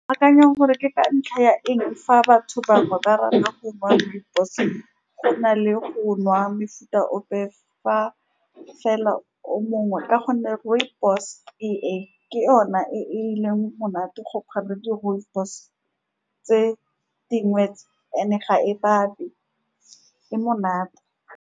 Ke akanya gore ke ka ntlha ya eng fa batho bangwe ba rata go nwa rooibos-e, go na le go nwa mefuta ope fa fela o mongwe, ka gonne rooibos-e ke yona e e leng monate, go phala di-rooibos-e tse dingwe tse and-e, ga e e monate.